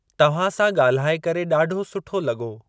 तव्हां सां ॻाल्हाए करे ॾाढो सुठो लॻो।